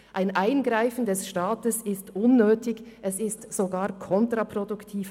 Ein Eingreifen des Staats ist unnötig, es ist sogar kontraproduktiv.